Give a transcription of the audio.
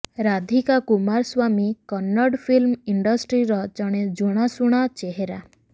Radhika Kumaraswamy Kannada film ଇଣ୍ଡଷ୍ଟ୍ରିର ଜଣେ ଜଣାଶୁଣା ଚେହେରା